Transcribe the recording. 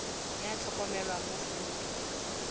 ya motlhokomelwa mo foromong ya